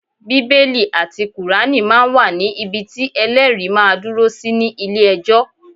Bíbélì àti Kùránì máa ń wà ní ibi tí Ẹlẹ́rìí máa dúró sí ní ilé ẹjọ́.